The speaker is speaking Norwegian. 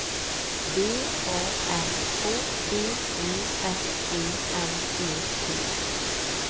B A N K V E S E N E T